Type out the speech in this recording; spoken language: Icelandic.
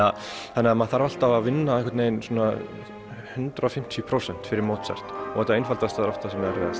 þannig að maður þarf alltaf að vinna hundrað og fimmtíu prósent fyrir Mozart og þetta einfaldasta er oft það